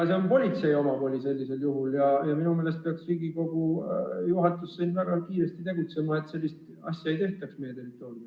See on politsei omavoli sellisel juhul ja minu meelest peaks Riigikogu juhatus väga kiiresti tegutsema, et sellist asja ei tehtaks meie territooriumil.